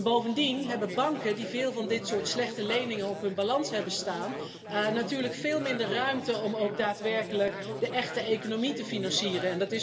Bovendien hebben banken die veel van dit soort slechte leningen op hun balans hebben staan, natuurlijk veel minder ruimte om ook daadwerkelijk de echte economie te financieren.